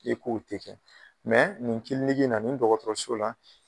K'i k'o tɛ kɛ nin in na nin dɔgɔtɔrɔso la.